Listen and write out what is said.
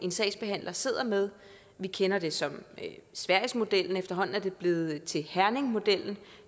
sagsbehandler sidder med vi kender det som sverigesmodellen og efterhånden er det blevet til herningmodellen